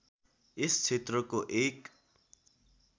यस क्षेत्रको एक